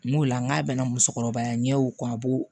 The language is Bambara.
N'o la n'a bɛna musokɔrɔba ɲɛw a b'o